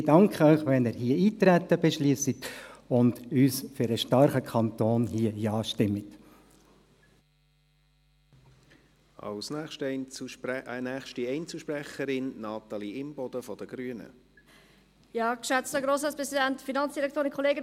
Ich danke Ihnen, wenn Sie hier Eintreten beschliessen und hier mit uns für einen starken Kanton Ja stimmen.